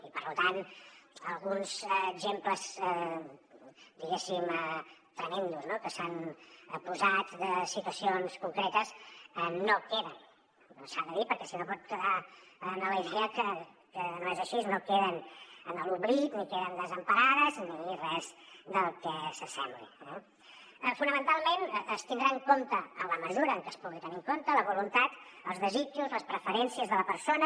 i per tant alguns exemples diguéssim tremends no que s’han posat de situacions concretes no queden s’ha de dir perquè si no pot quedar la idea que no és així en l’oblit ni queden desemparats ni res que s’hi assembli eh fonamentalment es tindran en compte en la mesura en que es puguin tenir en compte la voluntat els desitjos les preferències de la persona